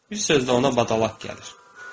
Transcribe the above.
Bir sözlə, ona badalaq gəlir.